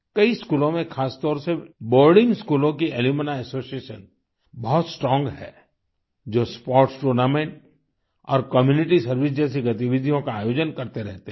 कई स्कूलों में खासतौर से बोर्डिंग स्कूलों की अलुम्नी एसोसिएशन बहुत स्ट्रोंग है जो स्पोर्ट्स टूर्नामेंट और कम्यूनिटी सर्वाइस जैसी गतिविधियों का आयोजन करते रहते हैं